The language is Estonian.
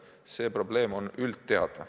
See probleem on üldteada.